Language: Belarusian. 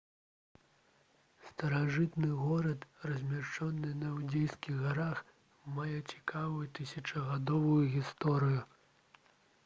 старажытны горад размешчаны на іўдзейскіх гарах мае цікавую тысячагадовую гісторыю